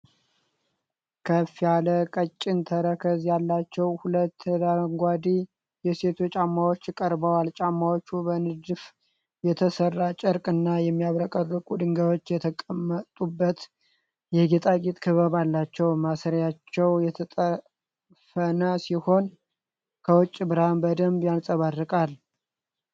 ከፍ ያለ ቀጭን ተረከዝ ያላቸው ሁለት አረንጓዴ የሴቶች ጫማዎች ቀርበዋል። ጫማዎቹ በንድፍ የተሠራ ጨርቅና የሚያብረቀርቁ ድንጋዮች የተገጠሙበት የጌጣጌጥ ክበብ አላቸው። ማሰሪያቸው የተጠፈነ ሲሆን፣ ከውጭ ብርሃን በደንብ ያንጸባርቃሉ።